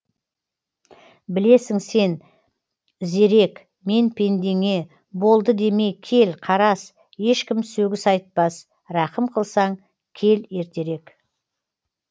білесің сен зерек мен пендеңе болды деме кел қарас ешкім сөгіс айтпас рақым қылсаң кел ертерек